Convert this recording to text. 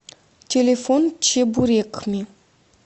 телефон чебурекми